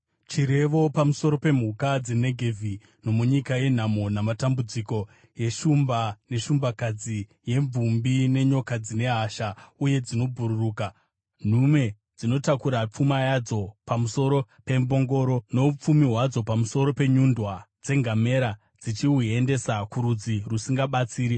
Chirevo pamusoro pemhuka dzeNegevhi: nomunyika yenhamo namatambudziko, yeshumba neshumbakadzi, yemvumbi nenyoka dzine hasha uye dzinobhururuka, nhume dzinotakura pfuma yadzo pamusoro pembongoro, noupfumi hwadzo pamusoro penyundwa dzengamera, dzichihuendesa kurudzi rusingabatsiri,